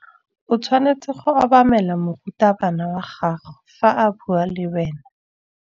O tshwanetse go obamela morutabana wa gago fa a bua le wena.